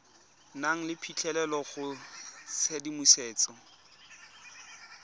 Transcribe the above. nang le phitlhelelo go tshedimosetso